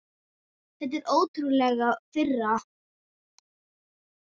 Þetta er ótrúleg firra.